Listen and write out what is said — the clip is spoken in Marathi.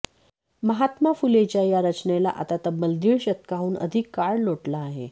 महात्मा फुलेंच्या या रचनेला आता तब्बल दीड शतकाहून अधिक काळ लोटला आहे